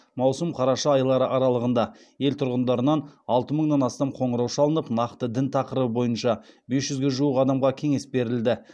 маусым қараша айлары аралығында ел тұрғындарынан алты мыңнан астам қоңырау шалынып нақты дін тақырыбы бойынша бес жүзге жуық адамға кеңес берілді